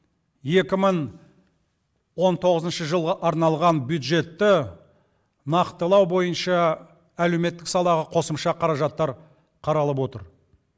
екі мың он тоғызыншы жылға арналған бюджетті нақтылау бойынша әлеуметтік салаға қосымша қаражаттар қаралып отыр